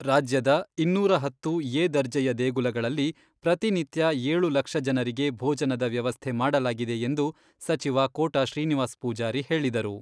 ರಾಜ್ಯದ ಇನ್ನೂರ ಹತ್ತು ಎ ದರ್ಜೆಯ ದೇಗುಲಗಳಲ್ಲಿ, ಪ್ರತಿನಿತ್ಯ ಏಳು ಲಕ್ಷ ಜನರಿಗೆ ಭೋಜನದ ವ್ಯವಸ್ಥೆ ಮಾಡಲಾಗಿದೆ ಎಂದು ಸಚಿವ ಕೋಟ ಶ್ರೀನಿವಾಸ್ ಪೂಜಾರಿ ಹೇಳಿದರು.